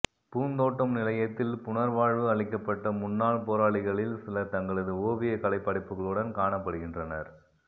பூந்தோட்டம் நிலையத்தில் புனர்வாழ்வு அளிக்கப்பட்ட முன்னாள் போராளிகளில் சிலர் தங்களது ஓவியக் கலைப்படைப்புகளுடன் காணப்படுகின்றனர்